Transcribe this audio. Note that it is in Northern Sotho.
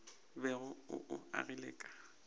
bego o o agile ka